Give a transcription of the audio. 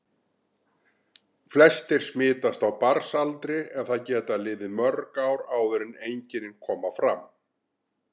Flestir smitast á barnsaldri en það geta liðið mörg ár áður en einkenni koma fram.